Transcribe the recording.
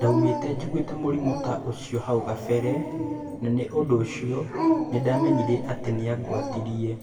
Ndiaumite njiguite Mũrimũta ũcio hau kabere na niũndũũcio nĩndamenyire ati niangwatirĩe.